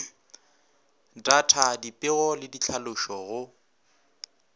data dipego le ditlhalošo go